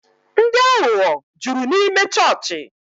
Ndị aghụghọ jụrụ n'ịme chọọchị